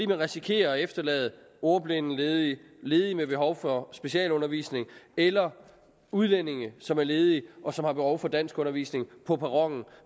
risikerer at efterlade ordblinde ledige ledige med behov for specialundervisning eller udlændinge som er ledige og som har behov for danskundervisning på perronen